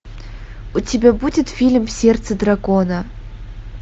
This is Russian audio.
у тебя будет фильм сердце дракона